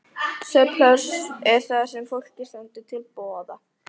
Svefnpláss er það sem fólki stendur til boða.